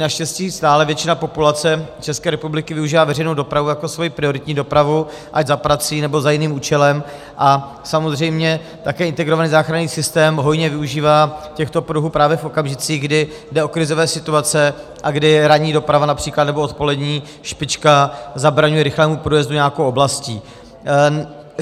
Naštěstí stále většina populace České republiky využívá veřejnou dopravu jako svoji prioritní dopravu ať za prací, nebo za jiným účelem a samozřejmě také integrovaný záchranný systém hojně využívá těchto pruhů právě v okamžicích, kdy jde o krizové situace a kdy ranní doprava například nebo odpolední špička zabraňují rychlému průjezdu nějakou oblastí.